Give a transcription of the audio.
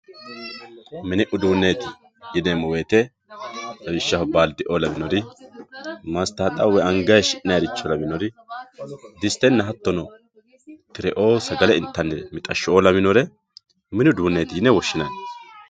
Min uduuneti yineemo woyite lawishaho baalideoo lawinori, masitaxawu woyi anga haayishinanire lawinori disitenna hatonno tireoo sagale intannire mixashoo lawinori mini uduuneeeti yine woshinanni.